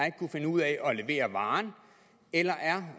ikke kunne finde ud af at levere varen eller er